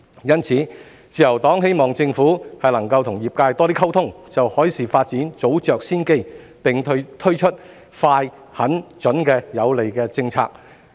因此，自由黨希望政府能與業界多些溝通，就海事發展早着先機，並推出快、狠、準的有利政策。